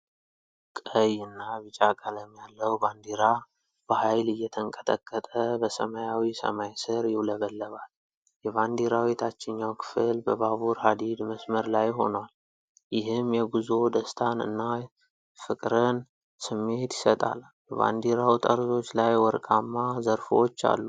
ቀይ እና ቢጫ ቀለም ያለው ባንዲራ በኃይል እየተንቀጠቀጠ በሰማያዊ ሰማይ ስር ይውለበለባል። የባንዲራው የታችኛው ክፍል በባቡር ሀዲድ መስመር ላይ ሆኖአል፤ ይህም የጉዞ ደስታን እና የፍቅርን ስሜት ይሰጣል። በባንዲራው ጠርዞች ላይ ወርቃማ ዘርፎች አሉ።